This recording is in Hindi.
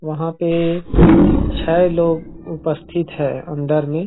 और पैसा निकालने की काम कर रहे हैं।